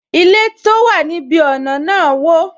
Ilé tó wà ní ibi ọna náà wo